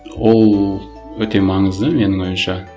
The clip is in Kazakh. ол өте маңызды менің ойымша